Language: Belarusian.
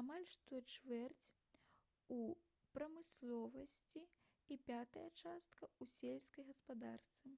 амаль што чвэрць у прамысловасці і пятая частка у сельскай гаспадарцы